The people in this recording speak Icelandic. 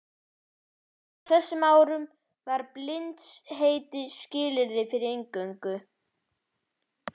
Á þessum árum var bindindisheit skilyrði fyrir inngöngu.